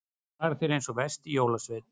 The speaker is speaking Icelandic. Þú hagar þér eins og versti jólasveinn.